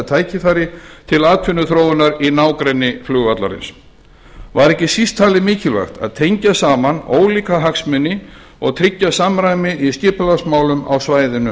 tækifæri til atvinnuþróunar í nágrenni flugvallarins var ekki síst talið mikilvægt að tengja saman ólíka hagsmuni og tryggja samræmi í skipulagsmálum á svæðinu